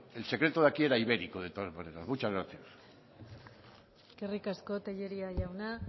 el secreto de aquí era ibérico de todas maneras muchas gracias eskerrik asko tellería jauna